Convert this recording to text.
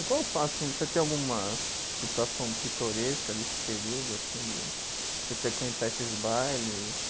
E qual o fato assim, você tem alguma situação pitoresca desse período assim de, de frequentar esses bailes?